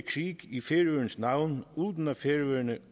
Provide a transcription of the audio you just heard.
krig i færøernes navn uden at færøerne